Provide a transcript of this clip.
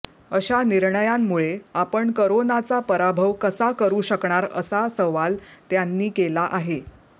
अशा निर्णयांमुळे आपण करोनाचा पराभव कसा करू शकणार असा सवाल त्यांनी केला आहे